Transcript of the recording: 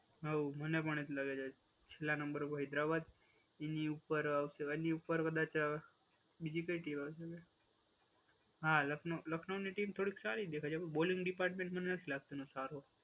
હા, મને પણ એ જ લાગે છે. છેલ્લા નંબર પર હૈદરાબાદ એની ઉપર હું કહેવાય? એની ઉપર કદાચ બીજી કઈ કહેવાય છે? હા લખનઉ, લખનઉ ની ટીમ થોડીક સારી દેખાય છે. પણ બોલિંગ ડિપાર્ટમેન્ટમાં નથી લાગતું સારું.